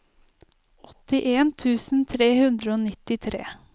åttien tusen tre hundre og nittitre